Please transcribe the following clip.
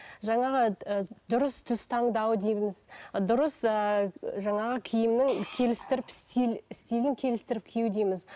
жаңағы ы дұрыс түс таңдау дейміз дұрыс ыыы жаңағы киімнің келістіріп стиль стилін келістіріп кию дейміз